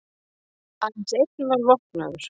Aðeins einn var vopnaður